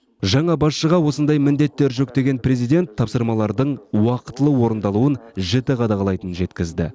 жаңа басшыға осындай міндеттер жүктеген президент тапсырмалардың уақытылы орындалуын жіті қадағалайтынын жеткізді